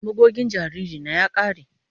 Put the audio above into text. Magogin jariri na ya kare.